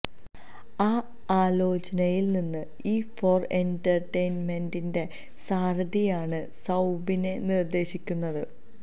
ആ ആലോചനയിൽ നിന്ന് ഇ ഫോര് എന്റര്ടെയ്ന്മെന്റിന്റെ സാരഥിയാണ് സൌബിനെ നിർദേശിക്കുന്നത്